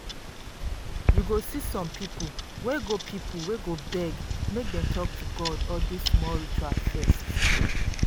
you go see some people wey go people wey go beg make dem talk to god or do small ritual first.